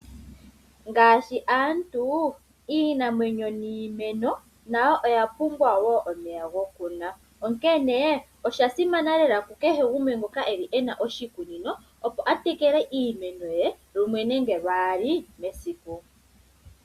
Ngaashi aantu, iinamwenyo niimeno nayo oyapumbwa wo omeya gokunwa. Oshasimana ku kehe gumwe ngoka ena oshikunino opo a tekele iimeno ye lumwe nenge lwaali mesiku.